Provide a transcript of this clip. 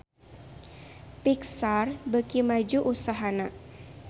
Pixar beuki maju usahana